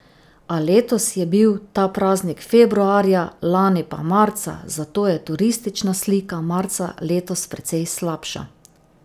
A letos je bil ta praznik februarja, lani pa marca, zato je turistična slika marca letos precej slabša.